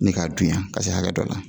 Ni k'a dunya ka se hakɛ dɔ la